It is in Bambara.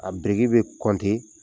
A biriki bɛ kɔnte